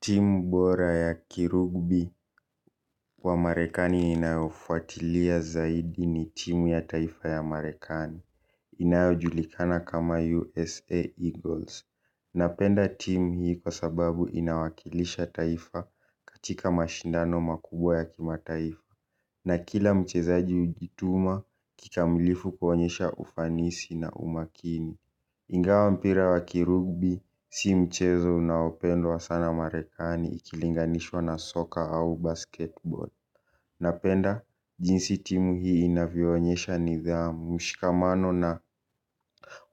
Timu bora ya kirugbi wa marekani ninayofuatilia zaidi ni timu ya taifa ya marekani. Inayojulikana kama USA Eagles napenda timu hii kwa sababu inawakilisha taifa katika mashindano makubwa ya kimataifa. Na kila mchezaji hujituma kikamilifu kuonyesha ufanisi na umakini. Ingawa mpira wa kirugbi, si mchezo unaopendwa wa sana Marekani ikilinganishwa na soka au basketball. Napenda jinsi timu hii inavionyesha nidhamu, mshikamano na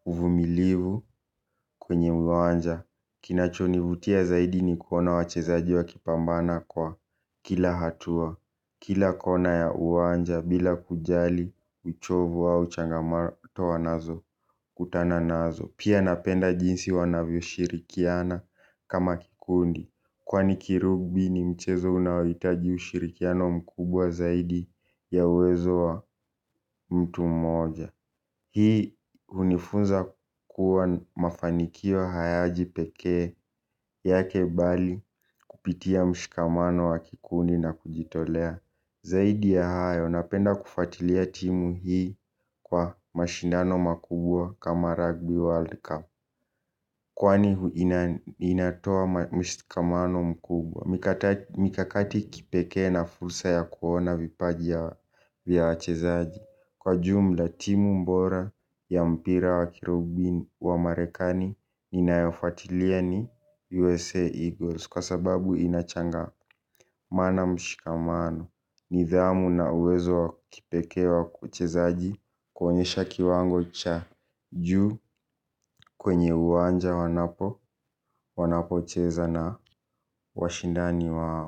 uvumilivu kwenye viwanja. Kinachonivutia zaidi ni kuona wachezaji wa kipambana kwa kila hatua. Kila kona ya uwanja bila kujali uchovu au changamato wanazo kutana nazo. Pia napenda jinsi wanavyo shirikiana kama kikundi. Kwani kirugbi ni mchezo unaohitaji ushirikiano mkubwa zaidi ya uwezo wa mtu mmoja. Hii hunifunza kuwa mafanikio hayaji pekee yake bali kupitia mshikamano wa kikundi na kujitolea. Zaidi ya hayo napenda kufatilia timu hii kwa mashindano makubwa kama Rugby World Cup. Kwani inatoa mshikamano mkubwa. Mikakati kipekee na fursa ya kuona vipaji ya vya wachezaji. Kwa jumla timu bora ya mpira wa kirugby wa marekani ninaifatilia ni USA Eagles. Kwa sababu inachanga mana mshikamano nidhamu na uwezo wa kipekee wa kiuchezaji. Kuonyesha kiwango cha juu kwenye uwanja wanapo wanapocheza na washindani wao.